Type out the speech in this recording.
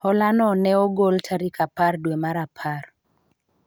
hola no ne ogol tarik apar dwe mar apar